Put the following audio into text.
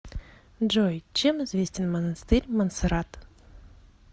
джой чем известен монастырь монсеррат